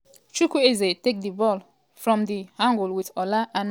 chukwueze take di ball from um di angle wit ola aina for di back.